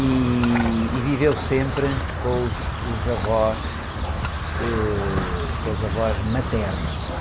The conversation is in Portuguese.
E viveu sempre com os avós, ãh, com os avós maternos.